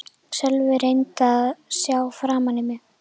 Sölvi reyndi að sjá framan í mig.